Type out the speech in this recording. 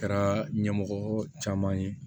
Kɛra ɲɛmɔgɔ caman ye